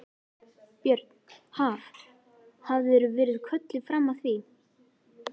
Björn: Haf, hafðirðu verið kölluð fram að því?